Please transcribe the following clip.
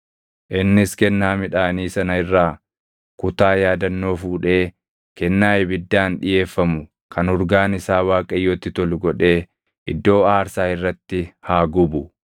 Innis Kennaa midhaanii sana irraa kutaa yaadannoo fuudhee kennaa ibiddaan dhiʼeeffamu kan urgaan isaa Waaqayyotti tolu godhee iddoo aarsaa irratti haa gubu.